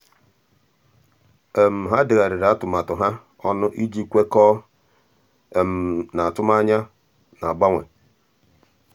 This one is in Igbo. há dèghàrị̀rị̀ atụmatụ um ha ọnụ iji kwekọ́ọ́ um n’átụ́mànyá nà-ágbànwé.